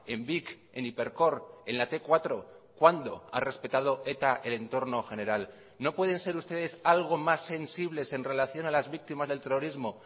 en vic en hipercor en la te cuatro cuándo ha respetado eta el entorno general no pueden ser ustedes algo más sensibles en relación a las víctimas del terrorismo